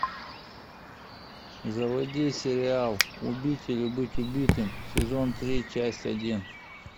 заводи сериал убить или быть убитым сезон три часть один